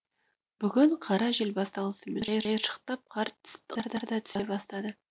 бүгін қара жел басталысымен қиыршықтап қар да түсе бастады